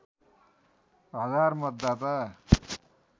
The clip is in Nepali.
हजार मतदाता